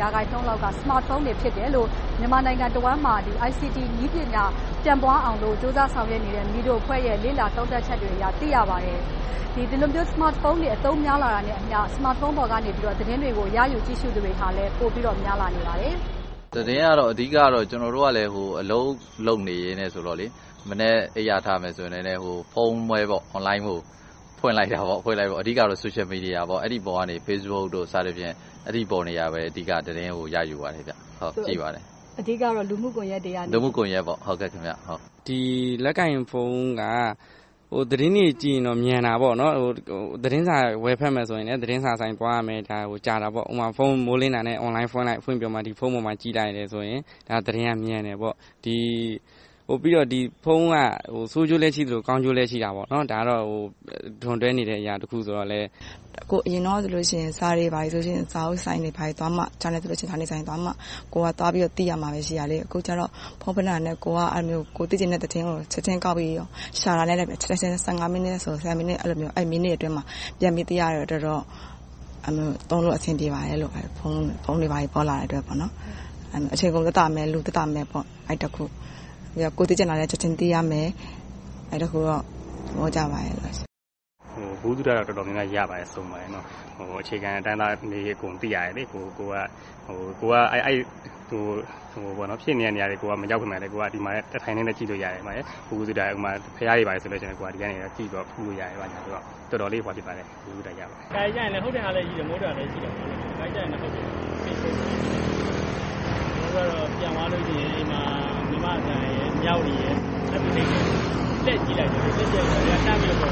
ရာခိုင်နှုန်းလောက်က Smart phone တွေ ဖြစ်တယ်လို့ မြန်မာနိုင်ငံတဝှမ်းမှာ ICT နည်းပညာ ပြန့်ပွားအောင်လို့ ကြိုးပမ်းဆောင်ရွက်နေတဲ့ MIDO အဖွဲ့ရဲ့ သုံးသပ်ချက်တွေအရ သိရပါတယ်။ ဒီလိုမျိုး Smart phone တွေ အသုံးများလာတာနဲ့အမျှ Smart phone ပေါ်ကနေ သတင်းတွေကို ရယူကြည့်ရှု့သူတွေလည်း ပိုများလာပါတယ်။ ဖြေ ။ ။ သတင်းကတော့ ကျနော်တို့က အလုပ်လုပ်နေတယ်ဆိုတော့ မနက်အိပ်ရာထတယ်ဆိုရင် ဖုန်းဖွင့်ပြီး အဓိက Social Media – Facebook တို့ကနေ သတင်းကို ရယူပါတယ်။ ကြည့်ပါတယ်။ မေး ။ ။ အဓိကတော့ လူမှု့ကွန်ရက်ကနေပေါ့။ ဖြေ ။ ။ လက်ကိုင်ဖုန်းက သတင်းတွေကြည့်ရင်တော့ မြန်တာပေါ့။ သတင်းစာ ဝယ်ဖတ်မယ်ဆိုရင် သတင်းဆိုင်သွားရမယ်။ ကြာတာပေါ့။ မိုးလင်းတာနဲ့ Online ဖွင့်လိုက်၊ ဖုန်းပေါ်မှာ ကြည့်လိုက်တယ်ဆိုရင် သတင်းကမြန်တယ်။ ဖုန်းက ဆိုးကျိုးလည်းရှိသလို၊ ကောင်းကျိုးလည်း ရှိပါတယ်။ ဒါက ဒွန်တွဲနေအရာတခုဆိုတော့။ ဖြေ ။ ။ အရင်တုန်းကဆိုရင် စာတွေ ဘာတွေ လိုလို့ဆိုရင် စာအုပ်ဆိုင်တွေ၊ ဘာတွေ သွားမှ။ ဂျာနယ်ဆိုရင် ဂျာနယ်ဆိုင်သွားမှ ကိုယ်ကသွားပြီးတော့ သိရမှာ ဖြစ်တယ်။ အခုကတော့ ဖုန်းပွတ်လိုက်တာနဲ့ ကိုယ်သိချင်တဲ့သတင်းကို ချက်ချင်းကောက်ရှာလိုက်တာနဲ့ ချက်ချင်း မိနစ်အတွင်း ပြန်ပြီးသိရတဲ့အတွက် သုံးလို့အဆင်ပြေပါတယ်။ အချိန်ကုန် သက်သာမယ်။ လူသက်သာမယ် - အဲဒါတခု။ ကိုယ်သိချင်တာလည်း ချက်ချင်းသိရမယ်။ အဲဒီတခုတော့ သဘောကျပါတယ်။ ဖြေ ။ ။ ဗဟုသုတတော့ တော်တော်များများ ရပါတယ်။ အခြေခံလူတန်းစားတွေအကြောင်းလည်း သိရပါတယ်။ ကိုယ်က ဖြစ်နေတဲ့နေရာတွေ မရောက်ပေမယ့်လဲ ဒီမှာ ကြည့်လို့ရတယ်။ ဘုရားတွေလည်း ဖူးလို့ရတယ်။ တော်တော်လေး ဗဟုသုတ ရပါတယ်။ ဖြေ ။ ။ တခါတလေကြရင် ဟုတ်တဲ့ဟာလည်းရှိတယ်၊ မဟုတ်တဲ့ဟာလည်းရှိတယ်။ ကျနော်တို့က ပြန်သွားလို့ရှိရင် မြန်မာ့အသံ၊ မြဝတီတို့ ကြည့်လိုက်တယ်…. မစုမြတ်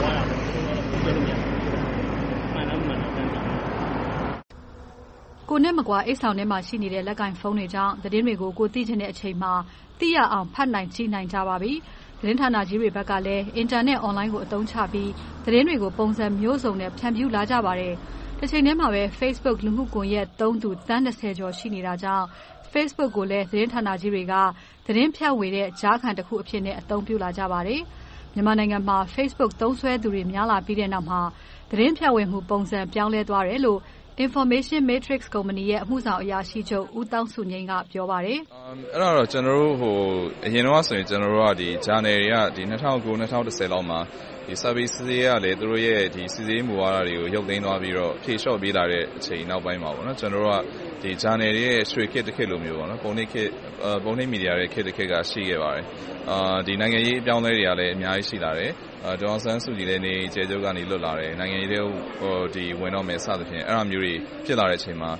မွန် ။ ။ ကိုယ်နဲ့မကွာ အိတ်ဆောင်ထဲမှာရှိနေတဲ့ လက်ကိုင်ဖုန်းကြောင့် သတင်းတွေကို ကိုယ်သိချင်တဲ့အချိန်မှာ သိရအောင် ဖတ်နိုင်ကြပါပြီ။ သတင်းဌာနကြီးတွေကလည်း Internet Online ကို အသုံးချပြီး သတင်းတွေကို ပုံစံမျိုးစုံနဲ့ ဖြန့်ဖြူးလာကြပါတယ်။ တချိန်တည်းမှာပဲ Facebook လူမှု့ကွန်ရက်သုံးသူ သန်း ကျော် ရှိနေတာကြောင့် Facebook ကိုလည်း သတင်းဌာနကြီးတွေက သတင်းဖြန့်ဝေတဲ့ ကြားခံအဖြစ် အသုံးပြုလာကြပါပြီ။ မြန်မာနိုင်ငံမှာ Facebook သုံးစွဲသူတွေ များလာပြီးတဲ့နောက်မှာ သတင်းဖြန့်ဝေမှု ပုံစံပြောင်းလဲသွားတယ်လို့ Information Matrix ကုမ္ပဏီရဲ့ အမှုဆောင်အရာရှိချုပ် ဦးသောင်းစုငြိမ် က ပြောပါတယ်။ ဦးသောင်းစုငြိမ် ။ ။ အဲဒါက အရင်တုန်းကဆို ဂျာနယ်တွေက ၂၀၀၉-၂၀၁၀ လောက်မှာ စာပေစီစစ်ရေးကလည်း သူတို့ရဲ့ စီစစ်ရေးမူဝါဒတွေကို ရုတ်သိမ်းသွားပြီး၊ ဖြေလျှော့ပြီးနောက်အချိန်မှာ ဂျာနယ်တွေရဲ့ ရွှေခေတ်တခေတ်လိုမျိုး ပုံနှိပ်မီဒီယာခေတ် ရှိခဲ့ပါတယ်။ နိုင်ငံရေးအပြောင်းအလဲတွေကလည်း အများကြီး ရှိလာတယ်။ ဒေါ်အောင်ဆန်းစုကြည်လည်း နေအိမ်အကျယ်ချုပ်က လွတ်လာတယ်။ နိုင်ငံရေးထဲ ဝင်တော့မယ် စသည်ဖြင့် အဲဒါမျိုးတွေ ဖြစ်လာတဲ့အချိန်မှာ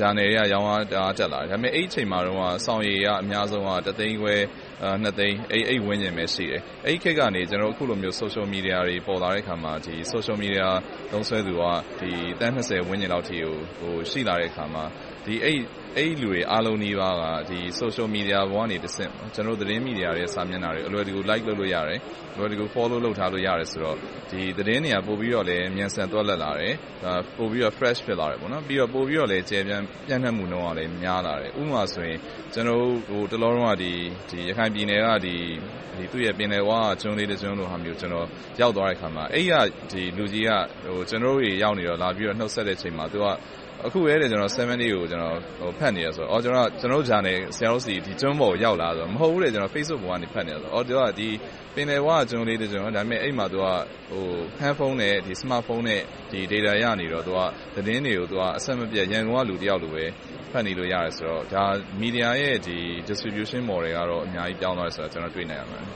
ဂျာနယ်တွေက ရောင်းအားတအား တက်လာတယ်။ အဲဒီအချိန်မှာ စောင်ရေအများဆုံးက တစ်သိန်းခွဲ - နှစ်သိန်း အဲဒီဝန်းကျင်ပဲရှိတယ်။ အဲဒီခေတ်ကနေ အခုလိုမျိုး Social Media တွေ ပေါ်လာတဲ့အခါမှာ Social Media သုံးစွဲသူက သန်း လောက်ကို ရှိလာတဲ့အခါမှာ အဲဒီလူတွေ အားလုံးနီးပါးက Social Media ပေါ်ကတဆင့် ကျနော်တို့ သတင်းမီဒီယာတွေရဲ့ စာတွေကို အလွယ်တကူ Like လုပ်လို့ရတယ်။ အလွယ်တကူ Follow လုပ်ထားလို့ရတယ်ဆိုတော့ သတင်းတွေကလည်း ပိုပြီးမြန်ဆန်သွက်လက်လာတယ်။ ပိုပြီးတော့ Fresh ဖြစ်လာတယ်။ ပိုပြီးတော့ ပြန့်နှံ့မှုနှုန်းလည်း များလာတယ်။ ဥပမာဆိုရင် ကျနော်တို့ တလောလုံးက ရခိုင်ပြည်နယ် ပင်လယ်ဝက ကျွန်းလေးတကျွန်းကို ရောက်သွားတဲံအခါမှာ အဲဒီကလူကြီးက ကျနော်တို့ ရောက်နေချိန်မှာ လာပြီးနှုတ်ဆက်ချိန်မှာ အခုပဲ ကျနော် 7 Days ကို ဖတ်နေတယ်ဆိုတော့ ကျနော်တို့ စာအုပ်ဂျာနယ်တွေ ကျွန်းပေါ်ရောက်နေသလားဆိုတော့… မဟုတ်ဘူး.. သူက Facebook ပေါ်က ဖတ်နေတယ်ဆိုတယ်။ အဲဒီတော့ ဒါက ပင်လယ်ဝက ကျွန်းလေးတကျွန်း - အဲဒီမှာ Hand phone, Smart phone နဲ့ Data ရနေတော့ သတင်းတွေကို အဆက်မပြတ်၊ ရန်ကုန်က လူတယောက်လိုပဲ ဖတ်နေလို့ ရတယ်ဆိုတော့ ဒါက Media ရဲ့ Distribution Model က အများကြီး ပြောင်းလဲသွားတာကို တွေ့နိုင်ပါတယ်။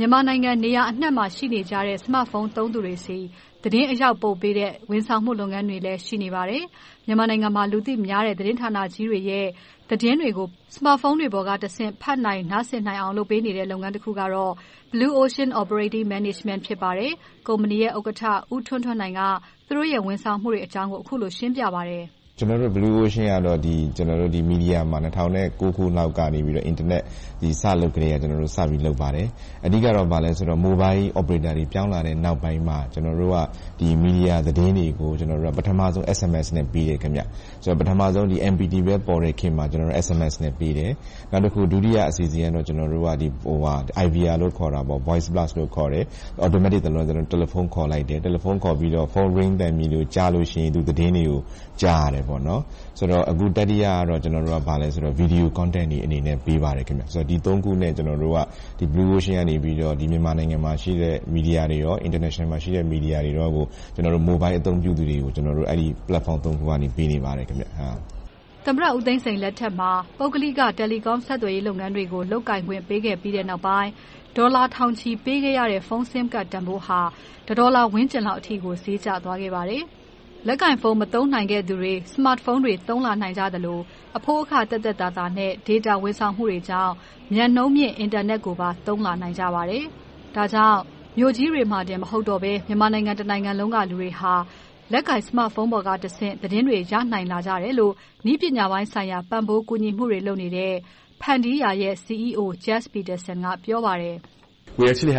မစုမြတ်မွန် ။ ။ မြန်မာနိုင်ငံ နေရာအနံှမှာ ရှိနေကြတဲ့ Smart Phone သုံးသူတွေဆီ သတင်းအရောက်ပို့ပေးတဲ့ ဝန်ဆောင်မှု လုပ်ငန်းတွေလည်း ရှိနေပါတယ်။ မြန်မာနိုင်ငံမှာ လူသိများတဲ့ သတင်းဌာနကြီးတွေရဲ့ သတင်းတွေကို Smart Phone တွေပေါ်က ဖတ်နိုင်၊ နားဆင်နိုင်အောင် လုပ်ပေးနေတဲ့ လုပ်ငန်းတခုကတော့ Blue Ocean Operation Management ဖြစ်ပါတယ်။ ကုမ္ပဏီရဲ့ ဥက္ကဋ္ဌ ဦးထွန်းထွန်းနိုင်က သူတို့ရဲ့ ဝန်ဆောင်မှုတွေအကြောင်းကို အခုလို ရှင်းပြပါတယ်. ဦးထွန်းထွန်းနိုင် ။ ။ ကျနော်တို့ Blue Ocean ကတော့ မီဒီယာမှာ ၂၀၀၉ ခုလောက် Internet စလုပ်ကတည်းက စတင်လုပ်ခဲ့ပါတယ်။ အဓိကတော့ Mobile Operators တွေ ပြောင်းလာတဲ့နောက်ပိုင်း ကျနော်တို့က မီဒီယာသတင်းတွေကို ကျနော်တို့က ပထမဦးဆုံး SMS နဲ့ ပေးတယ်။ ပထမဦးဆုံး MPT ပဲ ရှိတဲ့ခေတ်မှာ SMS နဲ့ ပေးတယ်။ နောက်တခု ဒုတိယအစီအစဉ်ကတော့ IVR – Voice… လို့ ခေါ်တယ်။ Automatic Telephone ခေါ်လိုက်တယ်။ တယ်လီဖုန်းခေါ်ပြီး Phone ring သံကြားလို့ရှိရင် သတင်းတွေကို ကြားရတယ်။ အခု တတိယကတော့ Video Content တွေအနေနဲ့ ပေးပါတယ်။ ဒီသုံးခုနဲ့ Blue Ocean ကနေ မြန်မာနိုင်ငံမှာရှိတဲ့ မီဒီယာတွေနဲ့ International မှာရှိတဲ့ မီဒီယာတွေနဲ့ မိုဘိုင်အသုံးပြုသူတွေကို ကျနော်တို့ အဲဒီ Platform သုံးခုကနေ ပေးနေပါတယ်။ မစုမြတ်မွန် ။ ။ သမ္မတဦးသိန်းစိန်လက်ထက်မှာ ပုဂ္ဂလိက Telecom ဆက်သွယ်ရေးလုပ်ငန်းတွေကို လုပ်ကိုင်ခွင့် ပေးခဲ့ပြီးနောက်ပိုင်း ဒေါ်လာထောင်ချီ ပေးခဲ့ရတဲ့ Phone Sim Card တန်းဖိုးဟာ တစ်ဒေါ်လာဝန်းကျင်လောက်ကို ဈေးကျသွားခဲ့ပါတယ်။ လက်ကိုင်ဖုန်း၊ Smart Phone တွေ သုံးလာနိုင်ကြသလို အဖိုးအခနှုန်း သက်သက်သာသာနဲ့ မြန်နှုန်းမြင့် အင်တာနက်ကိုပါ သုံးလာနိုင်ကြပါတယ်။ ဒါကြောင့် မြို့ကြီးတွေမှာပင် မဟုတ်ကြတော့ဘဲ မြန်မာနိုင်ငံတနိုင်ငံလုံးရှိ လူတွေဟာ လက်ကိုင် Smart Phone ပေါ်ကတဆင့် သတင်းတွေကို ရလာခဲ့ကြတယ်လို့ နည်းပညာပိုင်းဆိုင်ရာ ပံ့ပိုးကူညီမှုတွေ လုပ်ကိုင်နေတဲ့ ဖန်တီးရာ CEO Jeff Peterson က ပြောပါတယ်။ Jeff ။ ။ မြန်မာနိုင်ငံ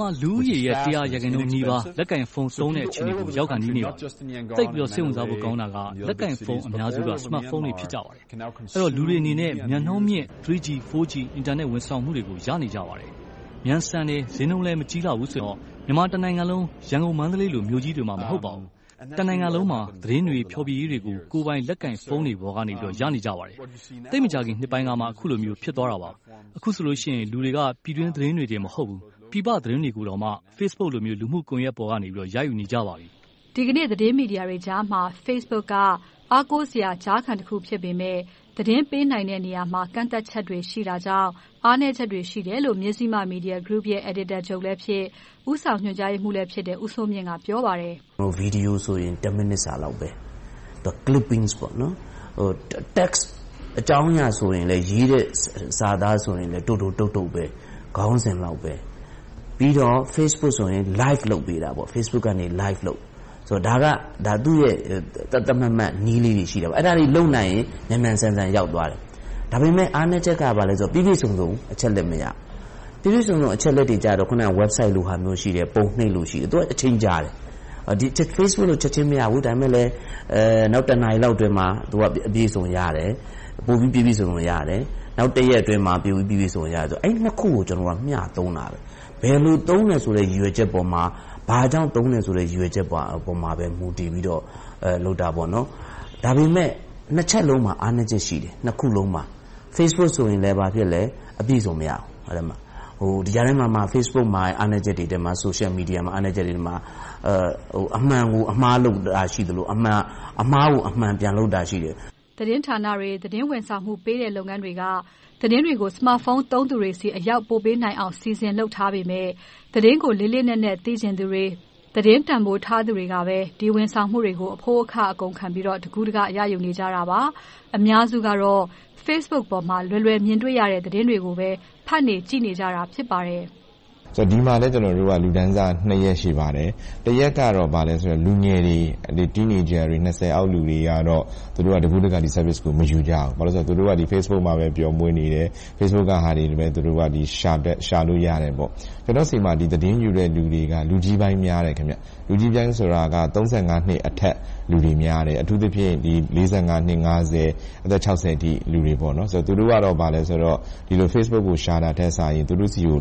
မှာ လူဦးရေ တစ်ရာ ရာခိုင်နှုန်းနီးပါး လက်ကိုင်ဖုန်းသုံးတဲ့ အခြေအနေကို ရောက်ခါနီးပါပြီ။ သိပ်ပြီးတော့ စိတ်ဝင်စားဖို့ကောင်းတာက လက်ကိုင်ဖုန်း အများစုက Smart phone တွေ ဖြစ်ကြပါတယ်။ အဲဒီတော့ လူတွေအနေနဲ့ မြန်နှုန်းမြင့် 3G, 4G အင်တာနက်တွေကို ရနေကြပါတယ်။ မြန်ဆန်တယ်၊ ဈေးနှုန်းလည်း မကြီးလှဘူးဆိုတော့ မြန်မာတနိုင်ငံလုံး ရန်ကုန်၊ မန္တလေးလို မြို့ကြီးတွေမှာ မဟုတ်ပါဘူး။ တနိုင်ငံလုံးမှာ သတင်းတွေ၊ ဖျော်ဖြေရေးတွေကို ကိုယ်ပိုင်လက်ကိုင်ဖုန်းတွေပေါ်ကနေ ရနေကြပါတယ်။ သိပ်မကြာခင်နှစ်ပိုင်းကမှ အခုလိုမျိုး ဖြစ်သွားတာပါ။ အခုဆိုလို့ရှိရင် လူတွေက ပြည်တွင်းသတင်းတွေတင် မဟုတ်ဘူး၊ ပြည်ပသတင်းတွေကိုတောင်မှ Facebook ကွန်ရက်ပေါ်ကနေ ရယူနေကြပါပြီ။ မစုမြတ်မွန် ။ ။ ဒီကနေ့ သတင်းမီဒီယာတွေကြားမှာ Facebook က အားကိုးစရာ ကြားခံဖြစ်ပေမယ့် သတင်းပေးနိုင်တဲ့နေရာမှာ ကန့်သတ်ချက်တွေ ရှိတာကြောင့် အားနည်းချက်တွေ ရှိတယ်လို့ မဇ္ဈိမသတင်း အယ်ဒီတာချုပ်လည်းဖြစ်၊ ဦးဆောင်ညွှန်ကြားရေးမှူးလည်းဖြစ်တဲ့ ဦးစိုးမြင့်က ပြောပါတယ်။ ဦးစိုးမြင့် ။ ။ ဗီဒီယိုဆိုရင် တစ်မိနစ်စာလောက်ပဲ The clipping.. Text အကြောင်းအရာဆိုရင်လည်း ရေးတဲ့စာသားဆိုရင်လည်း တိုတိုတုတ်တုတ်ပဲ ခေါင်းစဉ်လောက်ပဲ။ ပြီးတော့ Facebook ဆိုရင် Live လုပ်ပေးတယ်။ ဒါက သူ့ရဲ့ သတ်သတ်မှတ်မှတ် နည်းလေးတွေရှိတယ်။ အဲဒါတွေ လုပ်နိုင်ရင် မြန်မြန်ဆန်ဆန် ရောက်သွားတယ်။ ဒါပေမဲ့ အားနည်းချက်က ဘာလဲဆိုတော့ ပြည့်ပြည့်စုံစုံ အချက်အလက် မရဘူး။ ပြည့်ပြည့်စုံစုံ အချက်အလက်တွေကြတော့ Websites တွေရှိမယ်။ ပုံနှိပ်တွေ ရှိမယ်။ သူတို့က အချိန်ကြာတယ်။ Facebook လိုတော့ ချက်ချင်းမရဘူး။ ဒါပေမဲ့လဲ နောက်တစ်နာရီလောက်အတွင်းမှာ ပြည့်ပြည့်စုံစုံ၊ ပိုပြီးပြည့်ပြည့်စုံစုံ ရတယ်။ အဲဒီနှစ်ခုကို ကျနော်က မျှသုံးလာတယ်။ ဘယ်လိုသုံးမယ်ဆိုတဲ့ ရည်ရွယ်ချက်ပေါ်မှာ၊ ဘာကြောင့်သုံးတယ်ဆိုတဲ့ ရည်ရွယ်ချက်ပေါ်မှာ မူတည်ပြီးတော့ လုပ်တယ်။ ဒါပေမဲ့ နှစ်ချက်စလုံးမှာ အားနည်းချက်ရှိတယ်။ Facebook ဆိုရင် အပြည့်အစုံ မရဘူး။ ဒီ့အပြင် Social Media မှာ အမှန်ကို အမှားလုပ်တာရှိတယ်။ အမှားကို အမှန်ပြန်လုပ်တာရှိတယ်။ မစုမြတ်မွန် ။ ။ သတင်းဌာနတွေ၊ သတင်းဝန်ဆောင်မှုပေးတဲ့ လုပ်ငန်းတွေက သတင်းတွေကို Smart Phone သုံးသူတွေဆီ အရောက်ပို့ပေးနိုင်အောင် စီစဉ်လုပ်ထားပေမယ့် သတင်းကို လေးလေးနက်နက် သိချင်သူတွေ၊ သတင်းတန်းဖိုးထားသူတွေကပဲ ဒီဝန်ဆောင်မှုတွေကို အဖိုးအခ အကုန်အကျခံပြီးတော့ တကူးတကန့် ရယူနေကြတာပါ။ အများစုကတော့ Facebook ပေါ်မှာ လွယ်လွယ်မြင်တွေ့နေတဲ့ သတင်းတွေကိုပဲ ဖတ်နေကြည့်နေကြတာ ဖြစ်ပါတယ်။ ဦးထွန်းထွန်းနိုင် ။ ။ ဒီမှာလည်း လူတန်းစားနှစ်ရပ် ရှိပါတယ်။ တအုပ်စုကတော့ လူငယ်တွေ၊ Teenagers တွေ နှစ်ဆယ်အောက်လူငယ်တွေကတော့ သူတို့က တကူးတကန့် ဒီ Service ကို မယူရဘူး။ ဘာဖြစ်လို့လဲဆိုတော့ သူတို့က Facebook မှာပဲ ပျော်မွှေ့နေတယ်။ Facebook တင်ထားတာတွေပဲ ရှာကြတယ်။ ကျနော့်တို့ဆီမှာ သတင်းယူတဲ့လူတွေက လူကြီးပိုင်းများတယ်။ လူကြီးပိုင်းဆိုတာက သုံးဆယ့်ငါးနှစ်အထက် လူတွေများတယ်။ အထူးသဖြင့် လေးဆယ့်ငါးနှစ်၊ ငါးဆယ်၊ အသက်ခြောက်ဆယ်အထိလူတွေ သူတို့ကတော့ Facebook ကို ရှာတာထက်၊ သူတို့ဆီကို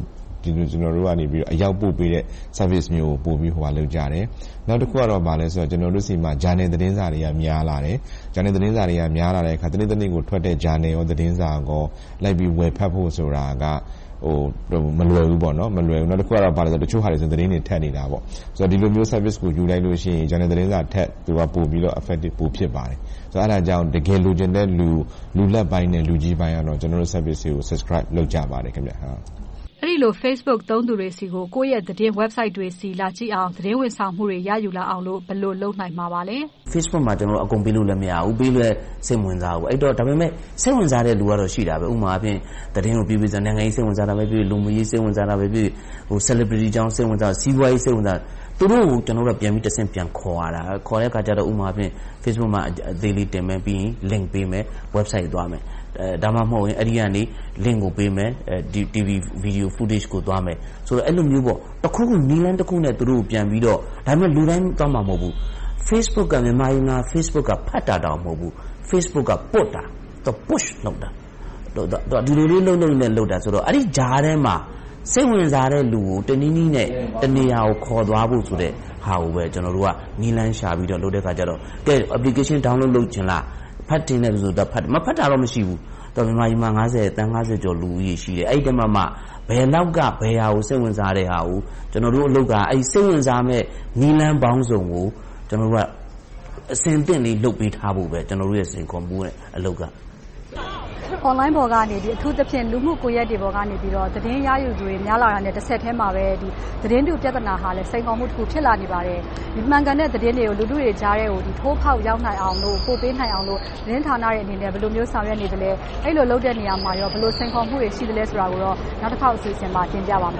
အရောက်ပို့ပေးတဲ့ Service မျိုးကို ပိုကြိုက်ကြတယ်။ နောက်တခုကတော့ ကျနော်တို့ဆီမှာ ဂျာနယ်သတင်းစာတွေ များလာတယ်။ ဂျာနယ်သတင်းစာတွေက များလာတဲ့အခါကြတော့ တနေ့တနေ့ကိုထွက်တဲ့ ဂျာနယ်၊ သတင်းစာတွေ ဝယ်ဖတ်ဖို့ဆိုတာက မလွယ်ဘူး။ နောက်တခုက အချို့ဟာတွေဆိုရင် သတင်းတွေ ထပ်နေတယ်။ ဒီလိုမျိုး Service ကို ယူလိုက်လို့ရှိရင် ဂျာနယ်၊ သတင်းစာထက် သူကပိုပြီးတော့ Effective ပိုဖြစ်ပါတယ်။ အဲဒါကြောင့် တကယ်လိုချင်တဲ့လူနဲ့ လူလတ်ပိုင်း၊ လူကြီးပိုင်းတွေကတော့ ကျနော်တို့ Service ကို Subscribe လုပ်ကြပါတယ်။ မစုမြတ်မွန် ။ ။ အဲဒီလို Facebook သုံးစွဲသူတွေဆီကို ကိုယ့်ရဲ့ သတင်းစာမျက်နှာတွေဆီ လာကြည့်အောင်၊ သတင်းဝန်ဆောင်မှုတွေ ရယူလာအောင်လို့ ဘယ်လို လုပ်နိုင်မလဲ။ ဦးစိုးမြင့် ။ ။ Facebook မှာတော့ အကုန်ပေးလို့ မရဘူး။ ပေးလည်း စိတ်မဝင်စားဘူး။ ဒါပေမဲ့ စိတ်ဝင်စားတဲ့လူကတော့ ရှိပါတယ်။ ဥပမာအားဖြင့် နိုင်ငံရေး၊ လူမှုရေး စိတ်ဝင်စားတာဖြစ်ဖြစ်၊ Celebraties အကြောင်း စိတ်ဝင်စားတာဖြစ်ဖြစ်၊ စီးပွားရေး စိတ်ဝင်စားသူတွေကို ကျနော်တို့က တဆင့်ပြန်ခေါ်ရတဲ့အခါကြတော့ Facebook မှာ သတင်းအကျဉ်းချုပ်တင်မယ်၊ ပြီးရင် Link ပေးမယ်။ Website ကို သွားမယ်။ ဒါမှမဟုတ် အဲဒီကနေ Link ကို ပေးမယ်။ TV, Video footage ကို သွားမယ်။ အဲဒီလိုမျိုး နည်းလမ်းတခုခုနဲ့ သူတို့ကို ပြန်ပြီးတော့ လုပ်ရတယ်။ ဒါပေမဲ့ လူတိုင်းသွားမှာ မဟုတ်ဘူး။ Facebook က မြန်မာပြည်မှာ ဖတ်တာတောင် မဟုတ်ဘူး၊ Facebook က ပွတ်တာ။ အဲဒီလိုလုပ်တာဆိုတော့ အဲဒီကြားထဲမှာ စိတ်ဝင်စားတဲ့လူကို တနည်းနည်းနဲ့ တနေရာကို ခေါ်သွားဖို့ဆိုတာကိုပဲ ကျနော်တို့က နည်းလမ်းရှာပြီးတော့ လုပ်တဲ့အခါကြတော့… Application download လုပ်ချင်လား။ ဖတ်ချင်တဲ့လူဆိုရင် ဖတ်တယ်။ မဖတ်ချင်တဲ့လူဆိုတာ မရှိဘူး။ မြန်မာနိုင်ငံမှာ သန်း ကျော် လူဦးရေ ရှိတယ်။ အဲဒီအထဲမှာမှ ဘယ်လောက်က ဘယ်ဟာကို စိတ်ဝင်စားတဲ့ဟာကို ကျနော်တို့အလုပ်က စိတ်ဝင်စားမယ့် နည်းလမ်းပေါင်းစုံကို ကျနော်တို့က အဆင်သင့်လေး လုပ်ပေးထားဖို့ပဲ ကျနော်တို့ရဲ့ စိန်ခေါ်မှုဖြစ်တယ်။ မစုမြတ်မွန် ။ ။ Online ပေါ်ကနေ အထူးသဖြင့် လူမှုကွန်ရက်တွေပေါ်ကနေ သတင်းရယူသူတွေ များလာတာနဲ့ တဆက်ထဲမှာ သတင်းတုပြဿနာကလည်း စိန်ခေါ်မှု ဖြစ်လာနေပါတယ်။ မှန်ကန်တဲ့ သတင်းတွေကို လူထုကြားထဲကို ထိုးဖောက်ရောက်နိုင်အောင်လို့ ပိုမိုလုပ်ပေးနိုင်အောင်လို့ သတင်းဌာနတွေအနေနဲ့ ဘယ်လိုမျိုး ဆောင်ရွက်နေသလဲ။ အဲဒီလို လုပ်တဲ့နေရာမှာ ဘယ်လို စိန်ခေါ်မှုတွေ ရှိနေတာကို နောက်တခေါက် အစီအစဉ်မှာ တင်ပြသွားပါမယ်။